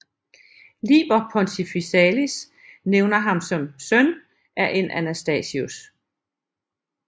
Liber Pontificalis nævner ham som søn af en Anastasius